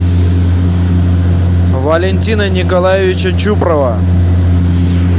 валентина николаевича чупрова